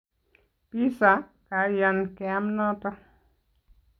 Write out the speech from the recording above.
Pizza, Kaiyan, kiame noto